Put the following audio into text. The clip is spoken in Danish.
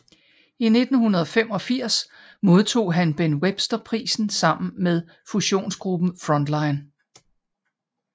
I 1985 modtog han Ben Webster Prisen sammen med fusionsgruppen Frontline